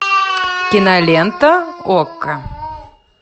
кинолента окко